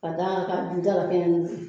Ka d'a kan, ka ju dalakɛɲɛni